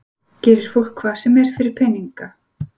Gerir fólk hvað sem er fyrir peninga?